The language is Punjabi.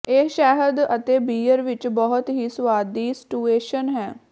ਇਹ ਸ਼ਹਿਦ ਅਤੇ ਬੀਅਰ ਵਿੱਚ ਬਹੁਤ ਹੀ ਸੁਆਦੀ ਸਟੂਅਸਨ ਹੈ